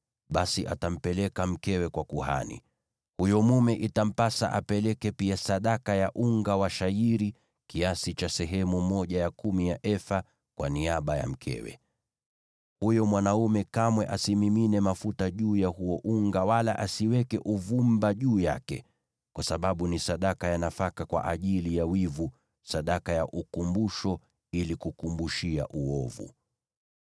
basi atampeleka mkewe kwa kuhani. Huyo mume itampasa apeleke pia sadaka ya unga wa shayiri kiasi cha sehemu ya kumi ya efa kwa niaba ya mkewe. Huyo mwanaume kamwe asimimine mafuta juu ya huo unga wala asiweke uvumba juu yake, kwa sababu ni sadaka ya nafaka kwa ajili ya wivu, sadaka ya ukumbusho ili kukumbushia uovu.